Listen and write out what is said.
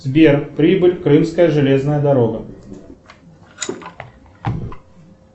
сбер прибыль крымская железная дорога